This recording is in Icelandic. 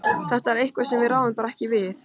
Þetta er eitthvað sem við ráðum bara ekki við.